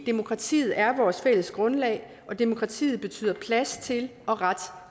demokratiet er vores fælles grundlag og demokratiet betyder plads til og ret